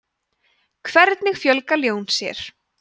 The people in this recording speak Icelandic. hvernig fjölga ljón sér